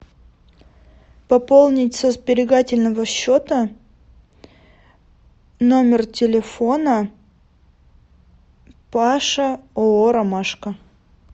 пополнить со сберегательного счета номер телефона паша ооо ромашка